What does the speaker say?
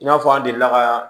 I n'a fɔ an delila ka